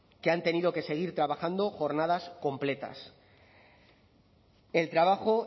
que han tenido que seguir trabajando jornadas completas el trabajo